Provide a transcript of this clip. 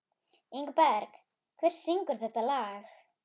Ingberg, hver syngur þetta lag?